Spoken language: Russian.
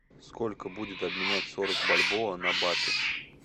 сколько будет обменять сорок бальбоа на баты